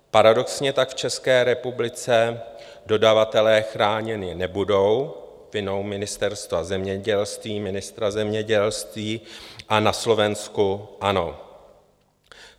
Paradoxně tak v České republice dodavatelé chráněni nebudou vinou Ministerstva zemědělství, ministra zemědělství, a na Slovensku ano.